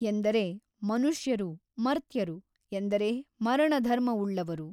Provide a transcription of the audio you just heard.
ಎಂದರೆ ಮನುಷ್ಯರು ಮರ್ತ್ಯರು ಎಂದರೆ ಮರಣಧರ್ಮವುಳ್ಳವರು.